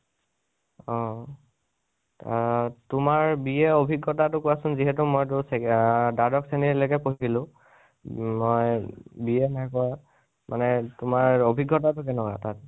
অহ। তোমাৰ BA অভিগতা তো কোৱাছোন, মানে, যিহেতু মইটো চে এ দ্বাদশ শ্ৰণীলৈকে পঢ়িছিলো । মই BA নাই কৰা , মানে তোমাৰ অভিজ্ঞতা টো কেনেকুৱা তাত?